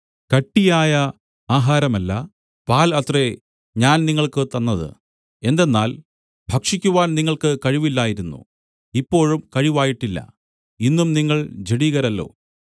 കട്ടിയായ ആഹാരമല്ല പാൽ അത്രേ ഞാൻ നിങ്ങൾക്ക് തന്നത് എന്തെന്നാൽ ഭക്ഷിക്കുവാൻ നിങ്ങൾക്ക് കഴിവില്ലായിരുന്നു ഇപ്പോഴും കഴിവായിട്ടില്ല ഇന്നും നിങ്ങൾ ജഡികരല്ലോ